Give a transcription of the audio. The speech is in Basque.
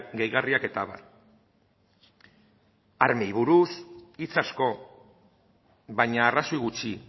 gehigarriak eta abar armei buruz hitz asko baina arrazoi gutxi